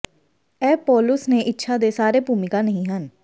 ਇਹ ਪੌਲੁਸ ਨੇ ਇੱਛਾ ਦੇ ਸਾਰੇ ਭੂਮਿਕਾ ਨਹੀ ਹਨ